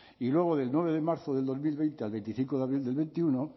y luego del nueve de marzo del dos mil veinte al veinticinco de abril del veintiuno